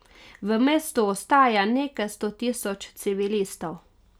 V mestu ostaja nekaj sto tisoč civilistov.